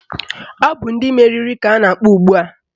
Ọ bụ ndị meriri ka ọ na-akpọ ugbua